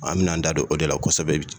An bɛn'an da don o de la kosɛbɛ